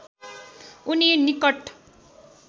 उनी निटक